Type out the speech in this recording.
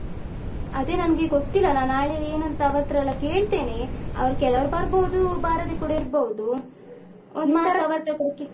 ಅದೆ ನನ್ಗೆ ಗೊತ್ತಿಲ್ಲ ನಾನು ನಾಳೆ ಏನುಂತ ಅವರತ್ರೆಲ್ಲ ಕೇಳ್ತೇನೆ ಅವ್ರು ಕೆಲವರು ಬರ್ಬೋದು ಬಾರದೆ ಕೂಡ ಇರ್ಬೋದು ಒಂದು ಮಾತು ಅವರತ್ರ ಕೂಡ.